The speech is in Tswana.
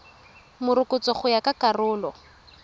morokotso go ya ka karolo